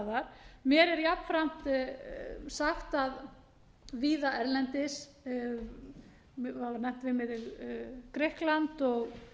staðar mér er jafnframt sagt að víða erlendis það var nefnt við mig grikkland og